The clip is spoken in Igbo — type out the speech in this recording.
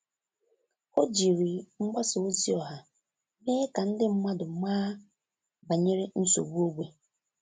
Ọ́ jìrì mgbasa ozi ọha mèé kà ndị mmadụ màá banyere nsogbu ógbè.